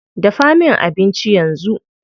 Dafa min abinci yanzu.